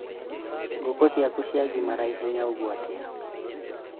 ngũkũ ciaku ciagimara ĩhenya ũguo atĩa?